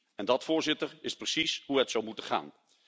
En dat, Voorzitter, is precies hoe het zou moeten gaan.